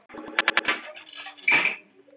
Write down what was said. Samningurinn sem við höfum er alveg pottþéttur.